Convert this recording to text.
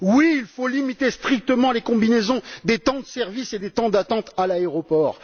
Oui, il faut limiter strictement les combinaisons des temps de service et des temps d'attente à l'aéroport.